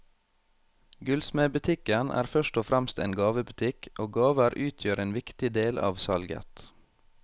Gullsmedbutikken er først og fremst en gavebutikk, og gaver utgjør en viktig del av salget.